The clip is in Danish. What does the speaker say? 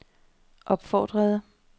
opfordrede